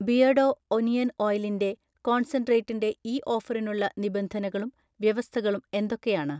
Beardo onion ഓയിലിൻ്റെ കോൺസെൻട്രേറ്റിൻറെ ഈ ഓഫറിനുള്ള നിബന്ധനകളും വ്യവസ്ഥകളും എന്തൊക്കെയാണ്?